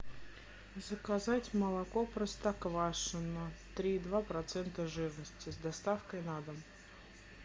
заказать молоко простоквашино три и два процента жирности с доставкой на дом